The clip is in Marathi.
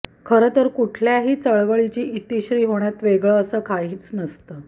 खरंतर कुठल्याही चळवळीची इतिश्री होण्यात वेगळं असं काहीच नाही